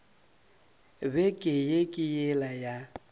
beke ye ke yela ya